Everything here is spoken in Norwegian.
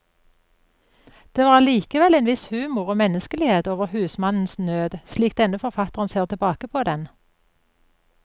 Det var allikevel en viss humor og menneskelighet over husmannens nød, slik denne forfatteren ser tilbake på den.